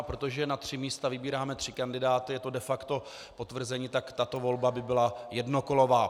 A protože na tři místa vybíráme tři kandidáty, je to de facto potvrzení, tak tato volba by byla jednokolová.